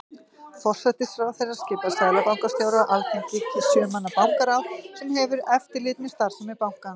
Forsætisráðherra skipar seðlabankastjóra og Alþingi kýs sjö manna bankaráð sem hefur eftirlit með starfsemi bankans.